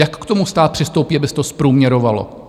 Jak k tomu stát přistoupí, aby se to zprůměrovalo?